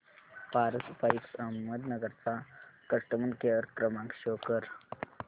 Paras pipes Ahmednagar चा customer care क्रमांक show करा